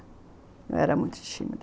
Eu era muito tímida.